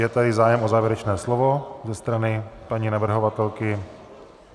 Je tady zájem o závěrečné slovo ze strany paní navrhovatelky?